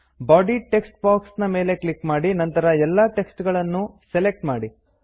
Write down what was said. body text box ಮೇಲೆ click ಮಾಡಿ ನಂತರ ಎಲ್ಲಾ ಟೆಕ್ಸ್ಟ್ ಗಳನ್ನೂ ಸೆಲೆಕ್ಟ್ ಮಾಡಿ